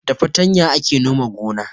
Da fartanya ake nome gona